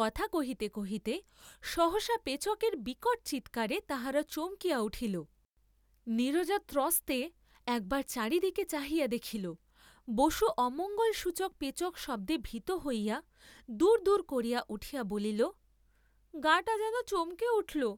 কথা কহিতে কহিতে সহসা পেচকের বিকট চীৎকারে তাহারা চমকিয়া উঠিল, নীরজা ত্রস্তে, একবার চারিদিকে চাহিয়া দেখিল, বসু অমঙ্গলসূচক পেচকশব্দে ভীত হইয়া দূর দূরকরিয়া উঠিয়া বলিল গাটা যেন চমকে উঠলো,